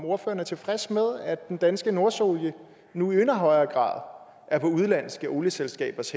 ordføreren er tilfreds med at den danske nordsøolie nu i endnu højere er på udenlandske olieselskabers